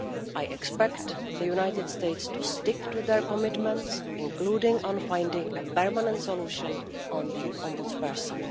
I expect the United States to stick to its commitments, including on finding a permanent solution on the Ombudsperson.